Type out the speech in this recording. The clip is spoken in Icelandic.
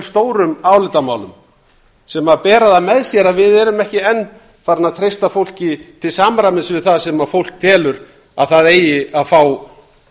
stórum álitamálum sem bera það með sér að við erum ekki enn farin að treysta fólki til samræmis við það sem fólk telur að það eigi að fá